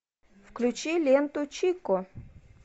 включи ленту чико